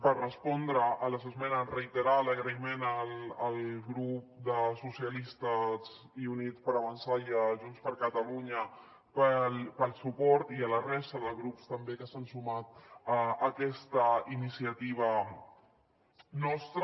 per respondre a les esmenes reiterar l’agraïment al grup socialistes i units per avançar i a junts per catalunya pel suport i a la resta de grups també que s’han sumat a aquesta iniciativa nostra